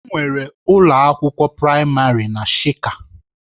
Enwere ụlọ akwụkwọ praịmarị na shika.